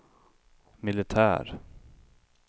militär